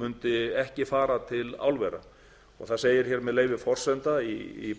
mundi ekki fara til álvera og það segir með leyfi forseta í